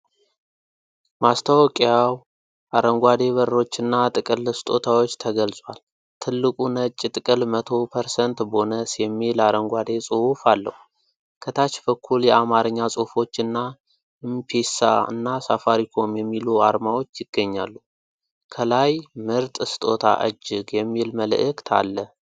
ማስታወቂያው አረንጓዴ በሮችና ጥቅል ስጦታዎች ተገልጿል። ትልቁ ነጭ ጥቅል "100% ቦነስ" የሚል አረንጓዴ ጽሁፍ አለው። ከታች በኩል የአማርኛ ጽሑፎችና "ም ፒሳ" እና "ሳፋሪኮም" የሚሉ አርማዎች ይገኛሉ። ከላይ "ምርጥ ስጦታ እጅግ!" የሚል መልዕክት አለ።